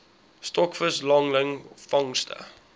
stokvis langlyn vangste